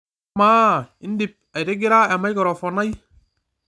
amaa indip aitigira emaikirofon ai